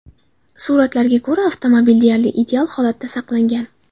Suratlarga ko‘ra, avtomobil deyarli ideal holatda saqlangan.